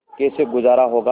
कैसे गुजारा होगा